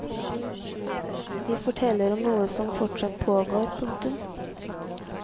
De forteller om noe som fortsatt pågår. punktum